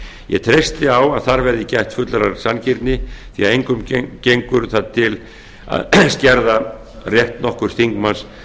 ég treysti á að þar verði gætt fullrar sanngirni því að engum gengur það til að skerða rétt nokkurs þingmanns